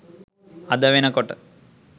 අද වෙනකොට